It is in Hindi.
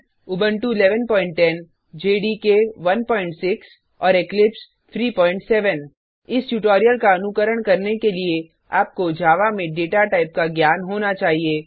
उबंटु 1110 जेडीके 16और इक्लिप्स 37 इस ट्यूटोरियल का अनुकरण करने के लिए आपको जावा में डेटा टाइप का ज्ञान होना चाहिए